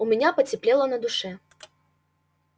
у меня потеплело на душе